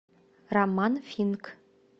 роман финк